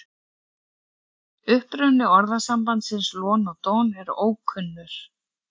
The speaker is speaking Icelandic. Uppruni orðasambandsins lon og don er ókunnur.